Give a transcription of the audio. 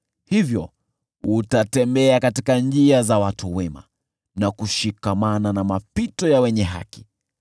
Hivyo utatembea katika njia za watu wema na kushikamana na mapito ya wenye haki.